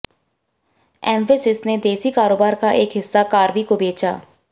एम्फैसिस ने देसी कारोबार का एक हिस्सा कार्वी को बेचा